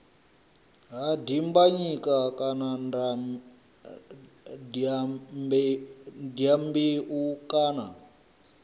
ha dimbanyika kana dyambeu kana